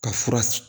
Ka fura